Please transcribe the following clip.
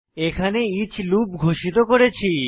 এখানে each loop ঘোষিত করেছি